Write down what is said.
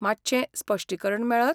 मातशें स्पश्टीकरण मेळत?